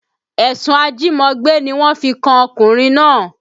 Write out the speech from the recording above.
Ẹ̀sùn ajímọgbé ni wọ́n fi kan ọkùnrin náà